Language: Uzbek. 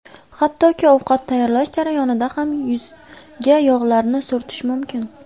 Hattoki ovqat tayyorlash jarayonida ham yuzga yog‘larni surtish mumkin.